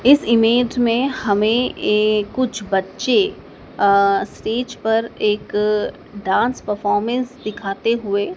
इस इमेज में हमें ए कुछ बच्चे अ स्टेज पर एक डांस परफॉर्मेंस दिखाते हुए--